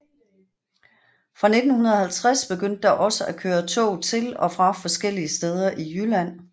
Fra 1950 begyndte der også at køre tog til og fra forskellige steder i Jylland